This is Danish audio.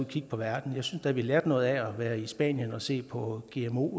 kigge på verden jeg synes da vi lærte noget af at være i spanien og se på gmo